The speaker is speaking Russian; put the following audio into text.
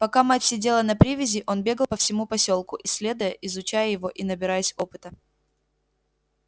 пока мать сидела на привязи он бегал по всему посёлку исследуя изучая его и набираясь опыта